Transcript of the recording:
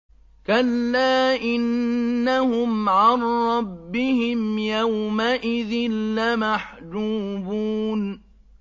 كَلَّا إِنَّهُمْ عَن رَّبِّهِمْ يَوْمَئِذٍ لَّمَحْجُوبُونَ